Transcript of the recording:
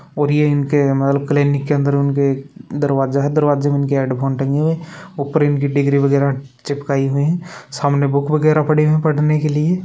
और ये इनके क्लीनिक के अंदर का दरवाजा है दरवाजा में उनके हेडफोन टंगे हुए हैं ऊपर उनकी डिग्री वगैरा चिपकाई हुई है सामने बुक वगैरा पड़ी हुई है पढ़ने के लिए।